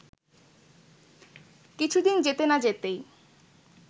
কিছুদিন যেতে না যেতেই